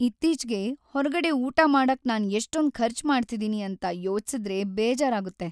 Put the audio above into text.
ಇತ್ತೀಚ್ಗೆ ಹೊರ್ಗಡೆ ಊಟ ಮಾಡಕ್ ನಾನ್ ಎಷ್ಟೊಂದ್ ಖರ್ಚ್ ಮಾಡ್ತಿದೀನಿ ಅಂತ ಯೋಚ್ಸಿದ್ರೆ ಬೇಜಾರಾಗುತ್ತೆ.